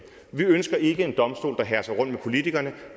vi ønsker ikke en domstol der herser rundt med politikerne og